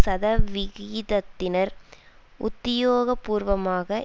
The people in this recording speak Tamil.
சதவிகிதத்தினர் உத்தியோகபூர்வமாக